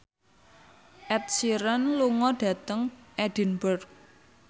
Ed Sheeran lunga dhateng Edinburgh